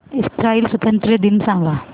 Israel स्वातंत्र्य दिन सांग